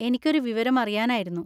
എനിക്കൊരു വിവരം അറിയാനായിരുന്നു.